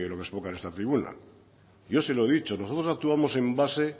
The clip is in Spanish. se exponga en esta tribuna yo se lo he dicho nosotros actuamos en base